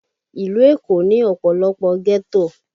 Ìlú Èkó ní ọ̀pọ̀lọpọ̀ ghetto